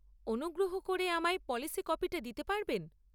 অনুগ্রহ করে আমায় পলিসি কপিটা দিতে পারবেন?